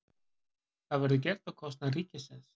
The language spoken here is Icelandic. Þetta verður gert á kostnað ríkisins